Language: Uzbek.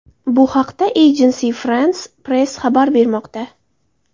Bu haqda Agence France-Presse xabar bermoqda .